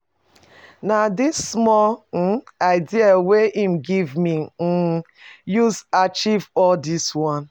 Na di small um idea wey im give me I um usa achieve all dis one.